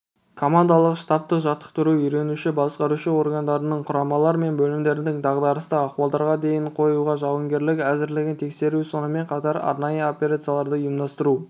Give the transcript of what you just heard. командалық-штабтық жаттықтыру үйренуші басқару органдарының құрамалар мен бөлімдердің дағдарыстық ахуалдарға ден қоюға жауынгерлік әзірлігін тексеру сонымен қатар арнайы операцияларды ұйымдастыру